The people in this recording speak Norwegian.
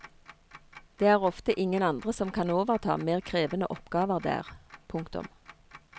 Det er ofte ingen andre som kan overta mer krevende oppgaver der. punktum